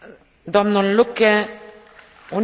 Frau Präsidentin, meine Damen und Herren!